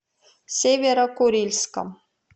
северо курильском